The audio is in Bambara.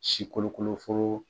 Si kolo kolo foro.